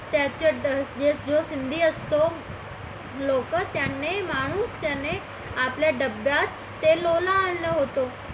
त्याच्यात जो सिंधी असतो लोकं त्याने माणूस त्याने आपल्या डब्यात ते लोला आणलं होत.